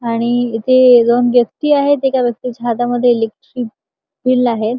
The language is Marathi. आणि इथे दोन व्यक्ती आहेत एका व्यक्तीच्या हातामध्ये इलेक्ट्रिसिटी चं बिल आहे.